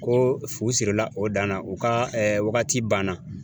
Ko fu sirila o dan na u ka ɛɛ wagati ban na